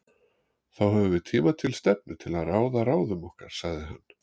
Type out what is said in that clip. Þá höfum við tíma til stefnu til að ráða ráðum okkar, sagði hann.